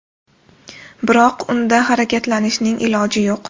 Biroq unda harakatlanishning iloji yo‘q.